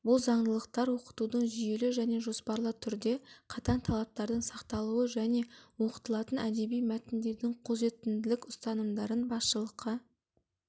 бұл заңдылықтар оқытудың жүйелі және жоспарлы түрде қатаң талаптардың сақталуы және оқытылатын әдеби мәтіндердің қолжетімділік ұстанымдарын басшылыққа